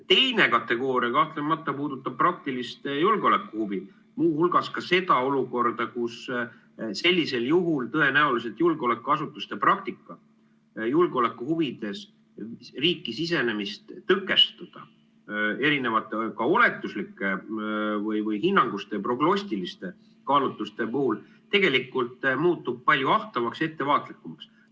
Teine kategooria kahtlemata puudutab praktilist julgeolekuhuvi, muu hulgas ka seda olukorda, kus sellisel juhul tõenäoliselt julgeolekuasutuste praktika julgeoleku huvides riiki sisenemist tõkestada erinevate oletuslike või hinnanguliste, prognostiliste kaalutluste puhul tegelikult muutub palju ahtamaks ja ettevaatlikumaks.